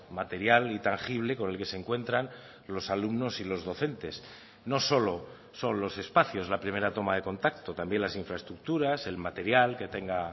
material y tangible con el que se encuentran los alumnos y los docentes no solo son los espacios la primera toma de contacto también las infraestructuras el material que tenga